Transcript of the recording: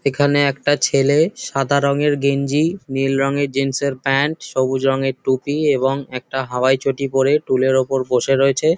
এখানে একটা ছেলে সাদা রঙের গেঞ্জি নীল রঙের জিন্স এর প্যান্ট সবুজ রঙের টুপি এবং একটা হাওয়াই চটি পরে টুল এর ওপর বসে রয়েছে।